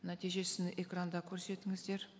нәтижесін экранда көрсетіңіздер